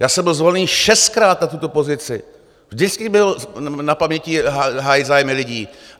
Já jsem byl zvolený šestkrát na tuto pozici, vždycky bylo na paměti hájit zájmy lidí.